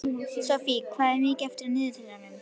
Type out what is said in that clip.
Sophie, hvað er mikið eftir af niðurteljaranum?